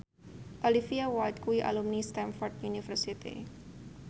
Olivia Wilde kuwi alumni Stamford University